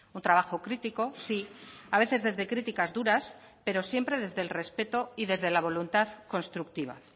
un trabajo crítico sí a veces desde criticas duras pero siempre desde el respeto y desde la voluntad constructiva